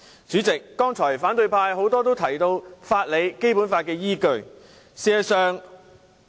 主席，多位反對派議員剛才提及法理及《基本法》作為依據。